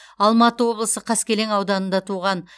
алматы облысы қаскелең ауданында туған